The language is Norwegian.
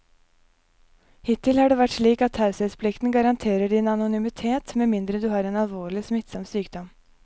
Hittil har det vært slik at taushetsplikten garanterer din anonymitet med mindre du har en alvorlig, smittsom sykdom.